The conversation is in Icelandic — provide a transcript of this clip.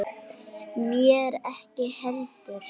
Mér ekki heldur.